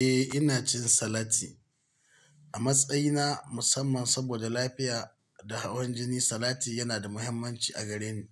Eh ina cin salati. A matsayina na musamman saboda lafiya da hawan jini, salati yana da muhimmanci a gare ni.